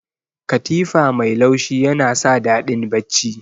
Katifa mai laushi yana sa daɗin bacci.